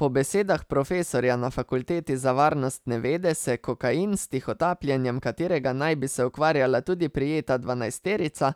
Po besedah profesorja na fakulteti za varnostne vede se kokain, s tihotapljenjem katerega naj bi se ukvarjala tudi prijeta dvanajsterica,